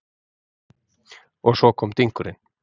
Og svo kom dynkurinn.